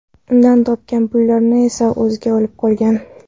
Undan topgan pullarni esa o‘ziga olib qolgan.